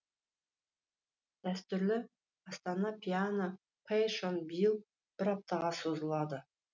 дәстүрлі астана пиано пэйшон биыл бір аптаға созылады